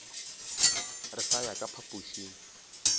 re sa ya ka phapošing